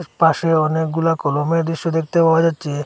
পাশে অনেকগুলা কলমের দৃশ্য দেখতে পাওয়া যাচ্ছে।